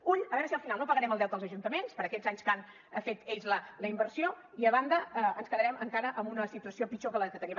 ull a veure si al final no pagarem el deute als ajuntaments per aquests anys que han fet ells la inversió i a banda ens quedarem encara amb una situació pitjor que la que teníem